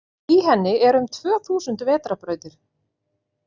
Í henni eru um tvö þúsund vetrarbrautir.